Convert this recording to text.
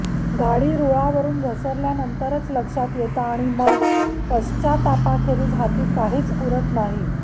गाडी रुळावरून घसरल्यानंतरच लक्षात येतं आणि मग पश्चात्तापाखेरीज हाती काहीच उरत नाही